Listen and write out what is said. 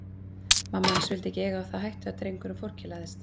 Mamma hans vildi ekki eiga það á hættu að drengurinn forkelaðist.